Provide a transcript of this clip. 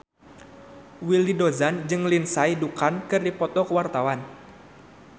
Willy Dozan jeung Lindsay Ducan keur dipoto ku wartawan